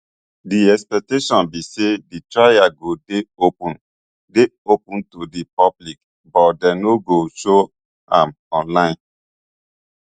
di expectation be say di trial go dey open dey open to di public but dem no go show am online